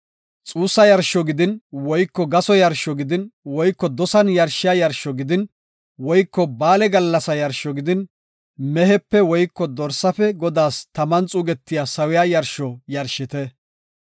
xuussa yarsho gidin woyko gaso yarsho gidin woyko dosan yarshiya yarsho gidin woyko ba7aale gallasa yarsho gidin, mehepe woyko dorsaafe Godaas taman xuugetiya sawiya yarsho yarshite.